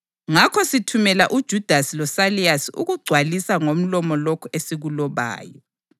Ngakho sithumela uJudasi loSayilasi ukugcwalisa ngomlomo lokhu esikulobayo.